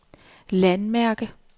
landmærke